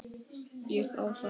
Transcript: Ég á það.